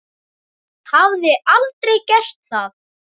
Hafði aldrei gert það.